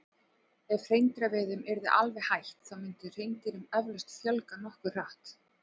Ef hreindýraveiðum yrði alveg hætt þá myndi hreindýrum eflaust fjölga nokkuð hratt.